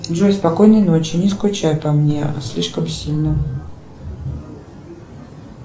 джой спокойной ночи не скучай по мне слишком сильно